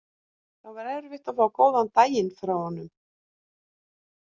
Það var erfitt að fá góðan daginn frá honum.